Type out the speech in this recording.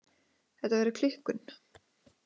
Þetta verður klikkun.